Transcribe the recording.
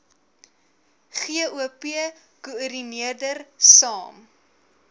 gop koördineerder saam